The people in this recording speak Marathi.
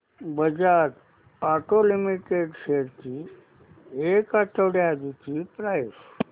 बजाज ऑटो लिमिटेड शेअर्स ची एक आठवड्या आधीची प्राइस